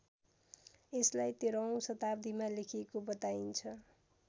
यसलाई १३औं शताब्दीमा लेखिएको बताइन्छ